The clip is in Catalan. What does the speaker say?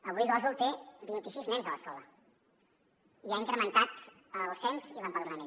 avui gósol té vint i sis nens a l’escola i ha incrementat el cens i l’empadronament